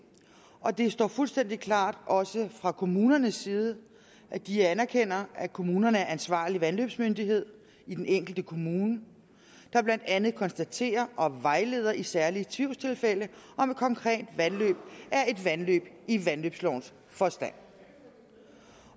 og det står fuldstændig klart også fra kommunernes side at de anerkender at kommunen er ansvarlig vandløbsmyndighed i den enkelte kommune der blandt andet konstaterer og vejleder i særlige tvivlstilfælde om et konkret vandløb er et vandløb i vandløbslovens forstand